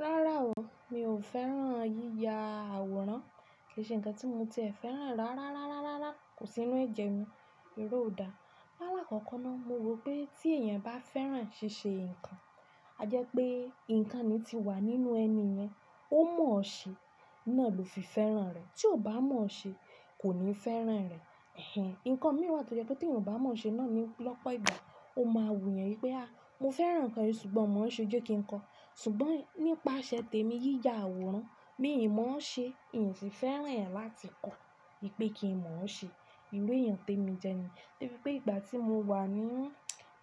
Rárá o, mi ò fẹ́ràn yíya àwòrán, kì í ṣe ǹkan tí mo tiẹ̀ fẹ́ràn rárá, kò sí nínú ẹ̀jẹ̀ mi, eré ò dá. Láàlá kọ́kọ́ náà mo rò pé tí èèyàn bá fẹ́ràn ṣíṣe ǹkan, a jẹ́ pé ǹkan ni ti wà nínú ẹni yẹn, ó mọ̀ ọ́ ṣe, náà ló fi fẹ́ràn rẹ̀. Tí ò bá mọ̀ ọ́ ṣe kò ní fẹ́ràn rẹ̀. Ẹ̀hẹ̀n! Ǹkan mi wà tó jẹ́ pé tí èèyàn ò bá mọ̀ ọ́ ṣe náà ni lọ́pọ̀ ìgbà ó máa wù yẹn wípé "a, mo fẹ́ràn ǹkan yìí ṣùgbọ́n mò ń ṣe ó jẹ́ kí ń kọ." ṣùgbọ́n nípasẹ̀ tèmi yíya àwòrán, mi ò mọ̀ ọ́ ṣe, ìy ì tí fẹ́ràn ẹ̀ láti kọ́, wípé kì í mọ̀ ọ́ ṣe. Iru èèyàn tèmi jẹ ni. Debí pé ìgbà tí mo wà ní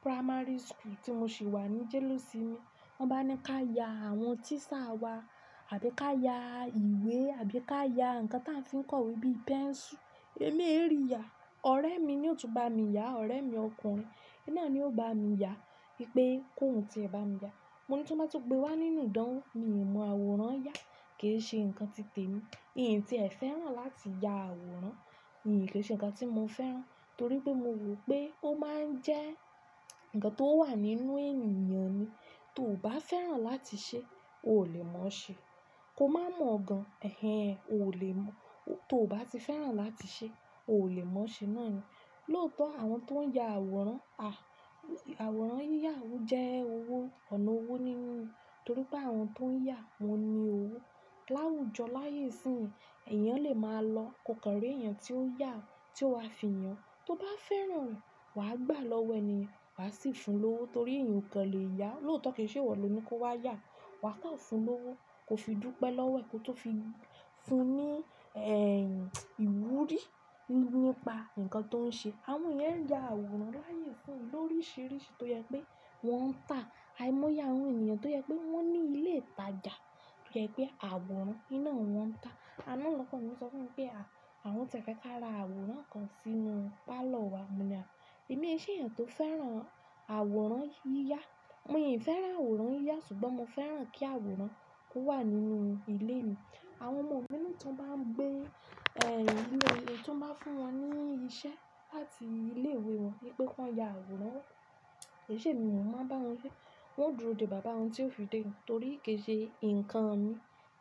primary school tí mo sì wà ní jelosimi wọ́n bá ní ká ya àwọn tiisa wa àbí ká ya ìwé àbí ká ya ǹkan tí a fi ń kọ́ we bíi pencil, èmi èrí ya. Ọ̀rẹ́ mi ni yóò tún bá mi yá, ọ̀rẹ́ mi ọkùnrin, iná ni yóò bá mi yá, wípé kó hun tí ẹ bá mi yá. Mo ní tí wọ́n bá tó gbé wá nínú idánwó, mi ò mọ àwòrán ya, kì í ṣe ǹkan ti tèmi. Ì tí ẹ̀ fẹ́ràn láti ya àwòrán, kì í ṣe ǹkan tí mo fẹ́ràn, torí pé mo rò pé ó máa ń jẹ́ ǹkan tó wà nínú ènìyàn ni. Tò bá fẹ́ràn láti ṣe, o lè mọ̀ ọ́ ṣe. Ko má mọ̀ ọ̀ gan-an, ẹ̀hẹ̀n! O lè mọ̀, tò bá ti fẹ́ràn láti ṣe, o lè mọ̀ ọ́ ṣe náà ni. Lóòótọ́ àwọn tó ń ya àwòrán, à, àwòrán yíya àwù jẹ́ owó, ọ̀nà owó nínú ni, torí pé àwọn tó ń yá wọn ni owó. Láwùjọ láyé ìsín, èèyàn lè máa lọ koko rí èèyàn tí ó yá, tí ó wá fi yàn. Tò bá fẹ́ràn rẹ̀, wà á gbà lọ́wẹ̀ ni, wà á sì fun lówó torí èèyàn kò lè yá. Lóòótọ́ kì í ṣe ìwọ lo ní kó wá yá, wà á tàn fun lówó, ko fi dúpẹ́ lọ́wẹ̀ ko tò fi fun ní, ẹ́ ìwúrí nípa ǹkan tó ń ṣe. Àwọn yẹn ń ya àwòrán láyé fún lórisìírísìí tó jẹ́ pé wọ́n ń tà. Aimo yá àwọn ènìyàn tó jẹ́ pé wọ́n ní ilé ìtajà, tó jẹ́ pé àwòrán iná wọn ń tà. Àná lọkọ mi sọ fún mi pé a, àwọn ti fẹ́ ká ra àwòrán kan sínú parlour wa, mo ní a, èmi kì í ṣe èèyàn tó fẹ́ràn àwòrán yíya. Mì fẹ́ràn àwòrán yíya ṣùgbọ́n mo fẹ́ràn kí àwòrán kó wà nínú ilé mi. Àwọn ọmọ mi ní tí wọ́n bá ń gbé, ẹ́, inú ilé tí wọ́n bá fún wọn ní iṣẹ́ láti ilé ìwé wọn wípé kó ya àwòrán, kì í ṣe mi mò ń bá wọn ṣe. Wọ́n ó dúró dè bàbá wọn tí ó fi dé torí kì í ṣe ǹkan mi,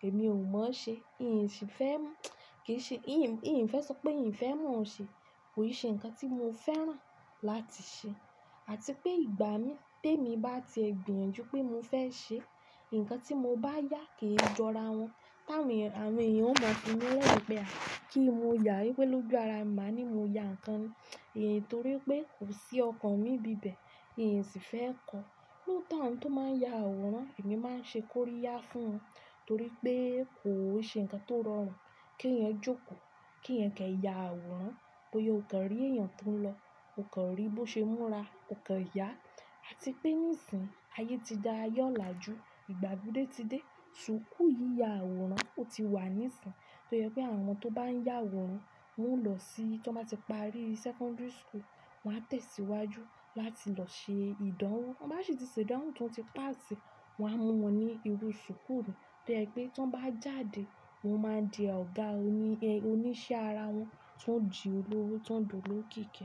èmi ò mọ̀ ọ́ ṣe, ì si fẹ́ mọ, kì í ṣe, ìy ì, ìy ì fẹ́ sọ pé ìy ì fẹ́ mọ̀ ọ́ ṣe, kò í ṣe ǹkan tí mo fẹ́ràn láti ṣe. Àti pé ìgbà mí, tèmi bá ti ẹ gbìyànjú pé mo fẹ́ ṣe, ǹkan tí mo bá yá kì í jọ ara wọn. Tá ǹ wè, àwọn èèyàn ó mọ̀ sí mi lẹ́wọ̀n pé a, kí mo ya ìwé lójo ara, màá ní mo ya ǹkan ni. Ìy ì torí pé kò sí ọkàn mi bíbẹ̀, ìy ì ti fẹ́ kọ́. Lóòótọ́ àwọn tó máa ń ya àwòrán, èmi máa ń ṣe kó rí yá fún wọn torí pé kò ó ṣe ǹkan tó rọrùn. Kí èèyàn jókòó, kí èèyàn kẹ́ yá àwòrán, bóyá o kàn rí èèyàn tó ń lọ, o kàn rí bó ṣe múra, o kàn yá. Àti pé níìsín, ayé ti da yọ lájú, ìgbà gbúdúdé ti dé, súkú yíya àwòrán ò tí wá níìsín. Tó jẹ́ pé àwọn tó bá ń yá àwòrán, wọ́n ó lọ sí, tí wọ́n bá ti parí sekondari school, wọ́n á tẹ̀síwájú láti lọ ṣe ìdánwò. Tan bá ṣe tìsèdánwò tí wọ́n ti pass, wọ́n á mú wọn ní irú súkú tó jẹ́ pé tí wọ́n bá jáde, wọn máa di ọ̀gá oní, ẹ́, oníṣẹ́ ara wọn, ti wọn di olówó tó ń dolo kiki.